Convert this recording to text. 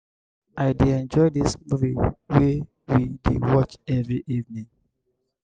i dey enjoy dis movie wey we dey watch every evening.